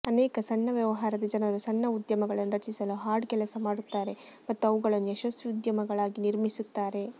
ಅನೇಕ ಸಣ್ಣ ವ್ಯವಹಾರದ ಜನರು ಸಣ್ಣ ಉದ್ಯಮಗಳನ್ನು ರಚಿಸಲು ಹಾರ್ಡ್ ಕೆಲಸ ಮಾಡುತ್ತಾರೆ ಮತ್ತು ಅವುಗಳನ್ನು ಯಶಸ್ವಿ ಉದ್ಯಮಗಳಾಗಿ ನಿರ್ಮಿಸುತ್ತಾರೆ